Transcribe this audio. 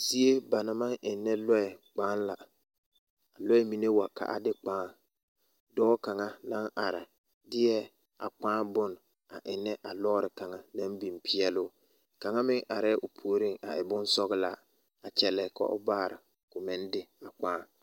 Zie ba maŋ eŋnɛ lɔɛ kpaa la lɔɛ mine wa ka a de kpaa dɔɔ kaŋa naŋ are deɛ a kpaa bonne a eŋnɛ a lɔɔre kaŋa naŋ biŋ peɛl o kaŋa meŋ arɛɛ o puoriŋ a e bonsɔglaa a kyɛllɛ ka o baare ko meŋ de a kpaa.